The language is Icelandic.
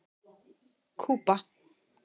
Kúba